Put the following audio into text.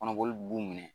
Kɔnɔboli b'u minɛ